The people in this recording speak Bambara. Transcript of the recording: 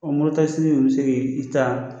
Ɔn moto takisini nunnu bi se ki i taa